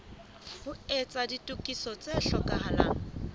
ho etsa ditokiso tse hlokahalang